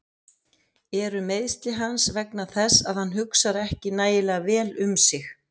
Eru meiðsli hans vegna þess að hann hugsar ekki nægilega vel um sig?